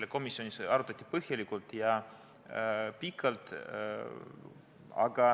Seda komisjonis arutati põhjalikult ja pikalt.